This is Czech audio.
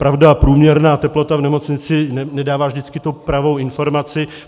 Pravda, průměrná teplota v nemocnici nedává vždycky tu pravou informaci.